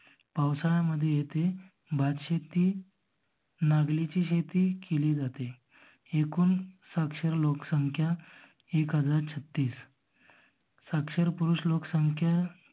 पावसाळ्यामध्ये येथे बाग शेती नागल्याची शेती केली जाते. एकूण साक्षर लोक संख्या एक हजार छत्तीस. साक्षर पुरुष लोक संख्या